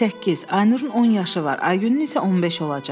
Səkkiz, Aynurun 10 yaşı var, Aygünün isə 15 olacaq.